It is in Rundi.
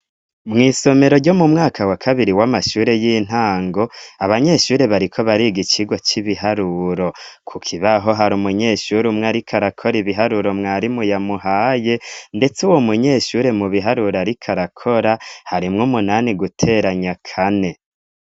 Mwisomero ryo mu mwaka wa kabiri wamashure y'intango abanyeshure bariko bariga ikigo c'ibiharuro ku kibaho hari umunyeshuri umwe ariko arakora ibiharuro umwarimu yamuhaye ndetse uwo munyeshure mu biharuro ariko arakora harimwo umunani guteranya kane.